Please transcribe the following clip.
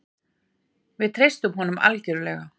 Við treystum honum algjörlega.